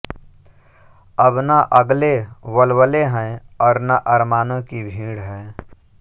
अब न अगले वल्वले हैं और न अरमानों की भीड़